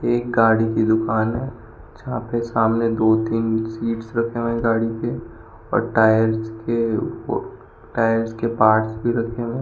एक गाड़ी की दुकान है जहां पे सामने दो तीन सीट्स रखे हुए हैं गाड़ी के और टायर्स के ओ टायर्स के पार्ट्स भी रखे हुए है।